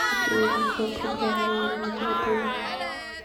хотела узнать про программу лояльности в отеле